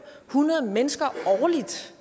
hundrede mennesker årligt